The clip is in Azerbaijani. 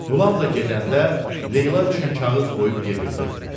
Qulam da gedəndə Leyla üçün kağız qoyub gedirdi.